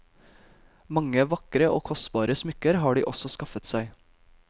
Mange vakre og kostbare smykker har de også skaffet seg.